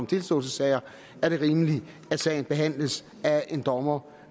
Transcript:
tilståelsessager er rimeligt at sagen behandles af en dommer